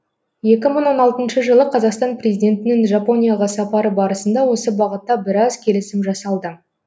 екі мың он алтыншы жылы қазақстан президентінің жапонияға сапары барысында осы бағытта біраз келісім жасалды